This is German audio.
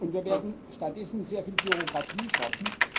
kann. Wir werden stattdessen sehr viel Bürokratie schaffen.